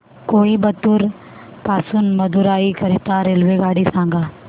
कोइंबतूर पासून मदुराई करीता रेल्वेगाडी सांगा